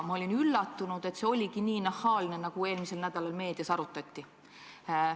Ma olin üllatunud, et see oligi nii nahaalne, nagu eelmisel nädalal meedias arutati.